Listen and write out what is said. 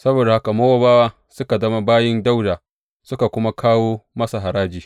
Saboda haka Mowabawa suka zama bayin Dawuda, suka kuma kawo masa haraji.